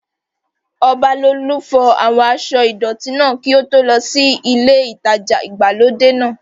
Ọbalolú fọ àwọn aṣọ́ ìdọ̀tí náà kí ó tó lọ sí ilé ìtajà ìgbàlódé náà